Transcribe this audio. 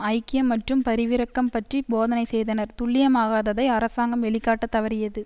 ஐக்கியம் மற்றும் பரிவிரக்கம் பற்றி போதனை செய்தனர் துல்லியமாகததை அரசாங்கம் வெளிக்காட்டத் தவறியது